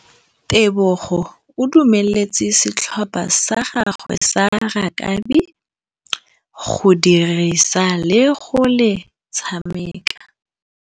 Tebogô o dumeletse setlhopha sa gagwe sa rakabi go dirisa le galê go tshameka.